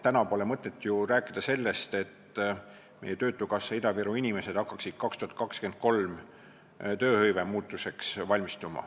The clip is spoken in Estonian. Täna pole mõtet ju rääkida sellest, et töötukassa Ida-Viru inimesed hakkaksid valmistuma 2023. aastal toimuvaks tööhõivemuutuseks.